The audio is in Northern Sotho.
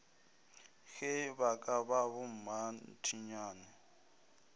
ge ba ka ba bommathinyane